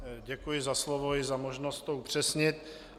Děkuji za slovo i za možnost to upřesnit.